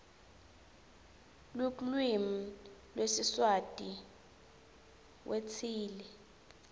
luklvimi lwesiswati wndtsile